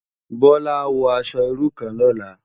Bola á wò aṣò irú kán lòlá